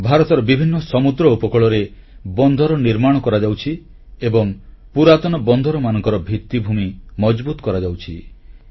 ଭାରତର ବିଭିନ୍ନ ସମୁଦ୍ର ଉପକୂଳରେ ବନ୍ଦର ନିର୍ମାଣ କରାଯାଉଛି ଏବଂ ପୁରାତନ ବନ୍ଦରମାନଙ୍କର ଭିତ୍ତିଭୂମି ମଜଭୁତ କରାଯାଉଛି